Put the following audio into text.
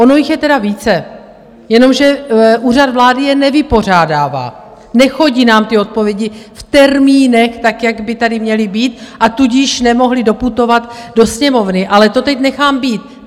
Ono je jich tedy více, jenomže Úřad vlády je nevypořádává, nechodí nám ty odpovědi v termínech tak, jak by tady měly být, a tudíž nemohly doputovat do Sněmovny, ale to teď nechám být.